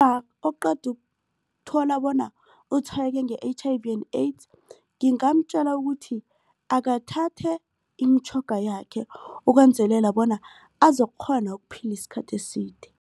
oqeda ukuthola bona utshwayeleke nge-H_I_V and AIDS ngingamtjela ukuthi akathathe imitjhoga yakhe ukwenzelela bona azokukghona ukuphila isikhathi eside.